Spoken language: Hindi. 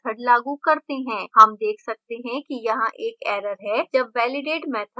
हम देख सकते हैं कि यहाँ एक error है जब validate method लागू होता है